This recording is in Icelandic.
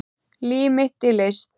Líf mitt í list